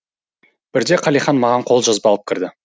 бірде қалихан маған қолжазба алып кірді